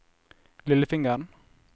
lillefingeren